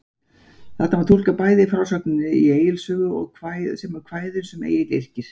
Þetta má túlka bæði af frásögninni í Egils sögu, sem og kvæðum sem Egill yrkir.